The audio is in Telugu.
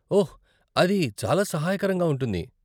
ఓహ్, అది చాలా సహాయకరంగా ఉంటుంది.